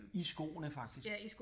I skoene faktisk